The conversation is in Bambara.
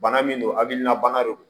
Bana min don hakilina bana do